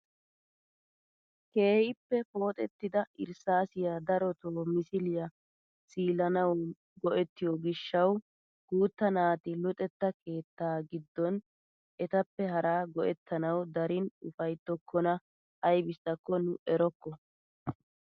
Keehippe pooxettida irssaasiyaa darotoo misiliyaa siilanawu go"ettiyoo gishshawu guutta naati luxetta keettaa giddon etappe hara go"ettanawu darin ufayttokona aybissako nu erokko!